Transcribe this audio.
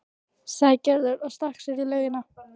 sagði Gerður og stakk sér í laugina.